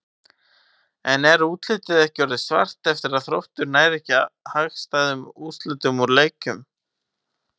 En er útlitið ekki orðið svart ef að Þróttur nær ekki hagstæðum úrslitum úr leiknum?